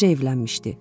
Təzəcə evlənmişdi.